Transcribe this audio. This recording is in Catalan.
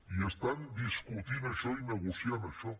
i estan discutint això i negociant això